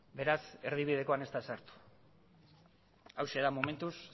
beraz erdibidekoan ez da sartu hauxe da momentuz